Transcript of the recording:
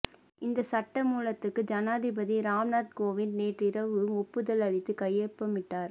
இந்த சட்டமூலத்துக்கு ஜனாதிபதி ராம்நாத் கோவிந்த் நேற்றிரவு ஒப்புதல் அளித்து கையொப்பமிட்டார்